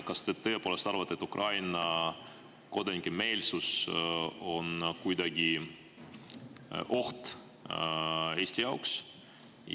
Kas te tõepoolest arvate, et Ukraina kodanike meelsus on kuidagi oht Eesti jaoks?